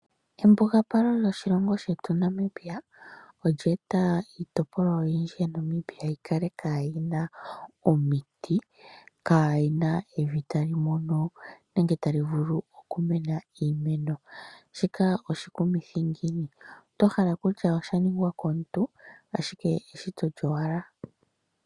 Embugapalo lyoshilongo shetu Namibia olyeeta iitopolwa oyindji ya Namibia yi kale kaayina omiti, kaayina evi tali mono nenge tali vulu oku mena iimeno. Shika oshikumithi ngiini to hala kutya osha ningwa komuntu ashike eshito lyowala.